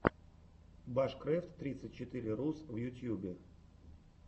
башкрэфт тридцать четыре рус в ютьюбе